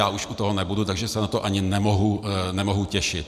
Já už u toho nebudu, takže se na to ani nemohu těšit.